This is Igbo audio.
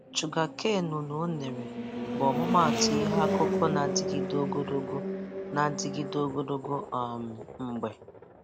Shugakanu na unere bụ ọmụmaatụ ihe akụkụ na-adịgide ogologo na-adịgide ogologo um mgbe